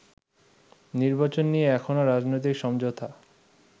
নির্বাচন নিয়ে এখনো রাজনৈতিক সমঝোতা